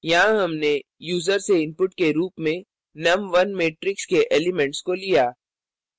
यहाँ हमने यूज़र से input के रूप में num1 matrix के elements को लिया